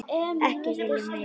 Ekki viljað meira.